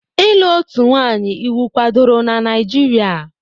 Ịlụ otu nwanyị iwu kwadoro na Naijiria?